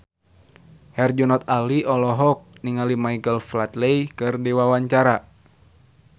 Herjunot Ali olohok ningali Michael Flatley keur diwawancara